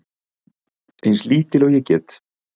Eins lítil og ég get.